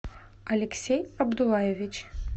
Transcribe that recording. алексей абдулаевич